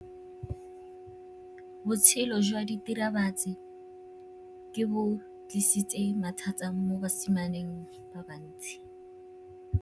Botshelo jwa diritibatsi ke bo tlisitse mathata mo basimaneng ba bantsi.